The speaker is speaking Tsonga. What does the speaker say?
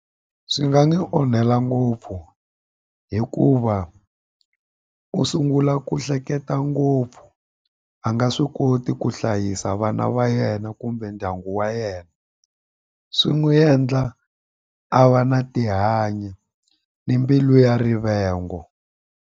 Swi nga ni onhela ngopfu hikuva u sungula ku hleketa ngopfu a nga swi koti ku hlayisa vana va yena kumbe ndyangu wa yena swi n'wi endla a va na tihanyi ni mbilu ya rivengo.